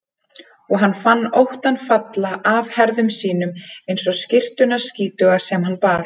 Og hann fann óttann falla af herðum sínum eins og skyrtuna skítugu sem hann bar.